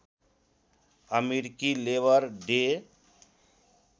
अमेरिकी Labour day